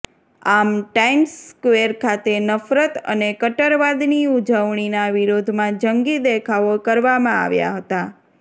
આમ Times Square ખાતે નફરત અને કટ્ટરવાદની ઉજવણીના વિરોધમાં જંગી દેખાવો કરવામાં આવ્યાં હતાં